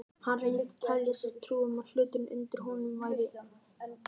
Hann reyndi að telja sér trú um að hluturinn undir honum væri sexí.